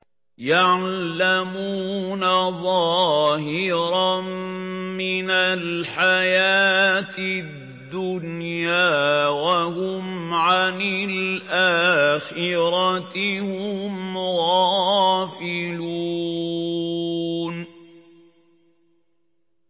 يَعْلَمُونَ ظَاهِرًا مِّنَ الْحَيَاةِ الدُّنْيَا وَهُمْ عَنِ الْآخِرَةِ هُمْ غَافِلُونَ